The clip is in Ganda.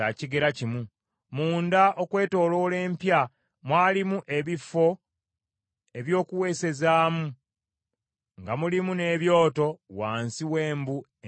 Munda okwetooloola empya mwalimu ebifo eby’okuweesezaamu nga mulimu n’ebyoto wansi w’embu enjuuyi zonna.